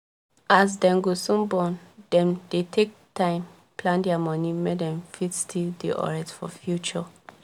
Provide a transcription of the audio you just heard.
as dem go soon born dem dey take time plan dia moni make dem fit still dey alright for future